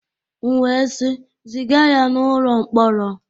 M wee sị, ziga ya n'ụlọ mkpọrọ!